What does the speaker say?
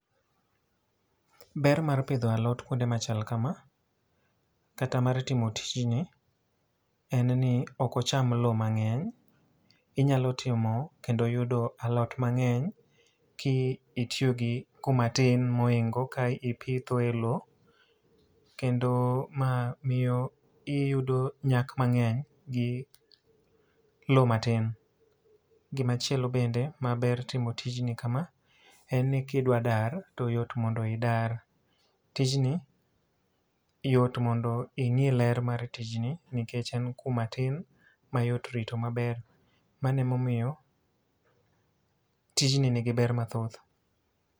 Ber mar pidho alot kuonde machal kama, kata mar timo tijni en ni okocham lo mang'eny. Inyalo timo kendo yudo alot mang'eny, ki itiyo gi kuoma tim moingo ka ipitho e lo. Kendo ma miyo iyudo nyak mang'eny gi lo ma tin. Gima chielo bende ma ber timo tijni kama, en ni kidwa dar to yot mondo idar. Tijni yot mondo ing'i ler mar tijni nikech en kuma tin ma yot rito maber. Mano emomiyo tijni nigi ber methoth.